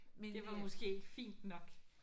Det var måske ikke fint nok